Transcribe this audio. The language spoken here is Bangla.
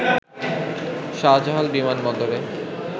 শাহজালাল বিমানবন্দরে